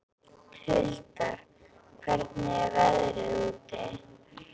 Huldar, hvernig er veðrið úti?